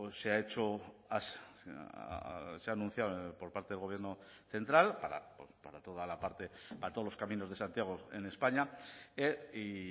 se ha hecho se ha anunciado por parte del gobierno central para toda la parte para todos los caminos de santiago en españa y